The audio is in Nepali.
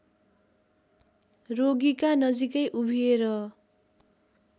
रोगीका नजीकै उभिएर